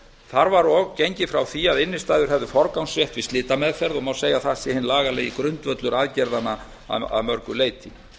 þar var og gengið frá því að innstæður hefðu forgangsrétt við slitameðferð og má segja að það sé hinn lagalegi grundvöllur aðgerðanna að mörgu leyti